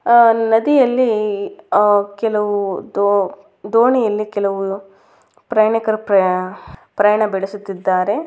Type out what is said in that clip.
ಆ ನದಿಯಲ್ಲಿ ಆ ಕೆಲವು ದೋಣಿಯಲ್ಲಿ ಕೆಲವು ಪ್ರಯಾಣಿಕರು ಪ್ರಯಾಣ ಬೀಳಿಸುತಿದ್ದಾರೆ.